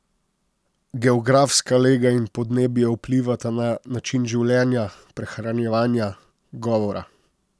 Geografska lega in podnebje vplivata na način življenja, prehranjevanja, govora ...